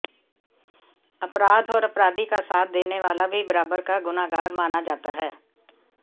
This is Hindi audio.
अपराध और अपराधी का साथ देने वाला भी बराबर का गुनहगार माना जाता है